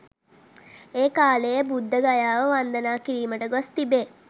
ඒ කාලයේ බුද්ධගයාව වන්දනා කිරීමට ගොස් තිබේ.